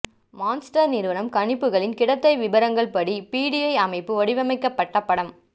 monster நிறுவனம் கணிப்புகளில் கிடைத்தை விபரங்கள் படி பிடிஐ அமைப்பு வடிவமைக்கப்பட்ட படம்